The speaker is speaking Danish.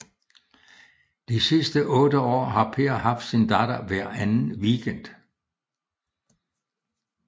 De sidste 8 år har Per haft sin datter hver anden weekend